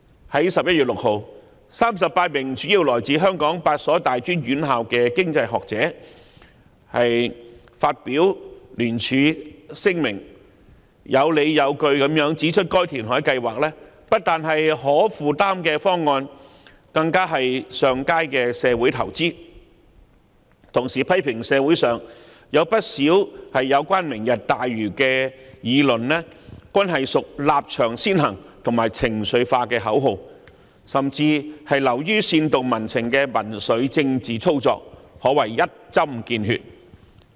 在11月6日 ，38 名主要來自香港8所大專院校的經濟學者發表聯署聲明，有理有據地指出該填海計劃不單是可負擔的方案，更是上佳的社會投資，並同時批評社會上有不少有關"明日大嶼"的議論均屬立場先行及情緒化的口號，甚至流於煽動民情的民粹政治操作，可謂一針見血。